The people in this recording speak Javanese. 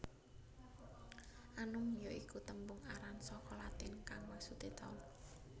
Annum ya iku tembung aran saka Latin kang maksudé taun